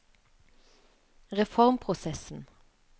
reformprosessen